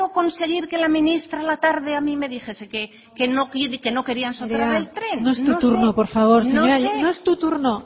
conseguir que la ministra a la tarde a mí me dijese que no querían nerea no es tu turno por favor no es tu turno